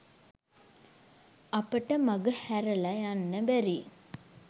අපට මගහැරල යන්න බැරි